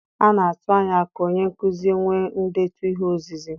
A na-atụ anya ka onye nkuzi nwee ndetu ihe ozizi.